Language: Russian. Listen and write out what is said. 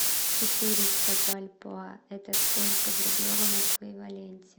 четыреста бальбоа это сколько в рублевом эквиваленте